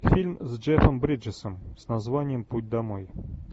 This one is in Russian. фильм с джеффом бриджесом с названием путь домой